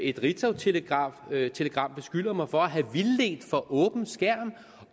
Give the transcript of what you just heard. et ritzautelegram beskylder mig for at have vildledt for åben skærm